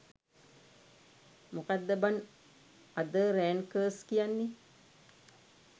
මොකද්ද බන් other rankers කියන්නේ.